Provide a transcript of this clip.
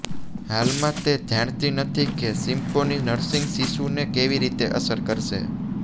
હાલમાં તે જાણતી નથી કે સિમ્પોની નર્સિંગ શિશુને કેવી રીતે અસર કરશે